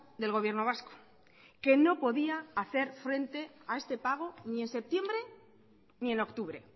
del gobierno vasco que no podía hacer frente a este pago ni en septiembre ni en octubre